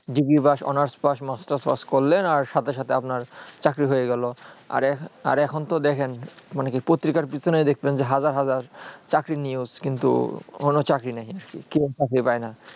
degree pass honours pass masters pass করলে আর সাথে সাথে আপনার চাকরি হয়ে গেলো আর আর এখন তো দেখেন মানে পত্রিকার পিছনেই দেখছেন যে হাজার হাজার চাকরি news কিন্তু কোনো চাকরি নেই কেউ চাকরি পায়ে না